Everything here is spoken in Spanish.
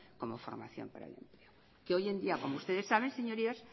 como formación profesional hoy en día como ustedes saben señorías